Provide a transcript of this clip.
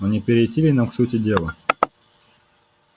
но не перейти ли нам к сути дела